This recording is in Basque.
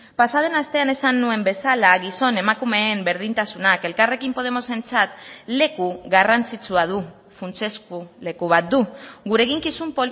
pasa den astean esan nuen bezala gizon emakumeen berdintasunak elkarrekin podemosentzat leku garrantzitsua du funtsezko leku bat du gure eginkizun